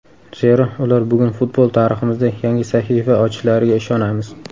Zero, ular bugun futbol tariximizda yangi sahifa ochishlariga ishonamiz.